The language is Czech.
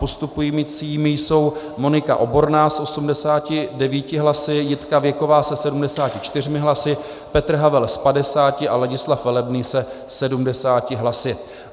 Postupujícími jsou Monika Oborná s 89 hlasy, Jitka Věková se 74 hlasy, Petr Havel s 50 a Ladislav Velebný se 70 hlasy.